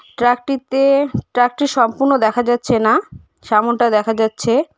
Truck -টিতে truck -টি সম্পূর্ণ দেখা যাচ্ছে না সামনটা দেখা যাচ্ছে।